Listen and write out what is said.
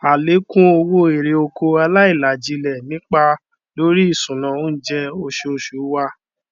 àlékún owó erè oko aláìlajílẹ nipa lórí ìṣúná oúnjẹ oṣooṣù wa